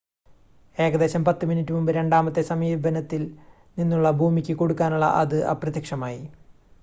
ഏകദേശം 10 മിനിറ്റ് മുമ്പ് രണ്ടാമത്തെ സമീപനത്തിൽ നിന്നുള്ള ഭൂമിയ്ക്ക് കൊടുക്കാനുള്ള അത് അപ്രത്യക്ഷമായി